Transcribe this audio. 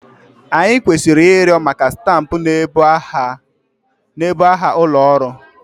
Anyị kwesịrị ịrịọ maka stampụ na-ebu aha ụlọ ọrụ.